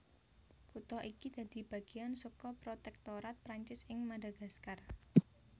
Kutha iki dadi bagéan saka protèktorat Prancis ing Madagaskar